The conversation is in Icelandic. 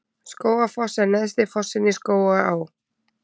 Skógafoss er neðsti fossinn í Skógaá.